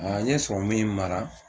A n ye in mara